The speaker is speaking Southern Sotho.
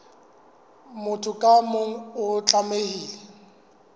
motho ka mong o tlamehile